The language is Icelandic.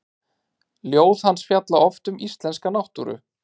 Ljóð hans fjalla oft um íslenska náttúru.